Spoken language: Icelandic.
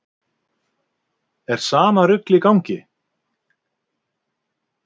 Er sama rugl í gangi?